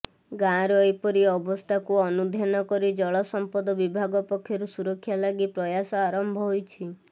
ଗାଁର ଏପରି ଅବସ୍ଥାକୁ ଅନୁଧ୍ୟାନ କରି ଜଳସମ୍ପଦ ବିଭାଗ ପକ୍ଷରୁ ସୁରକ୍ଷା ଲାଗି ପ୍ରୟାସ ଆରମ୍ଭ ହୋଇଛି